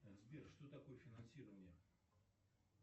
сбер что такое финансирование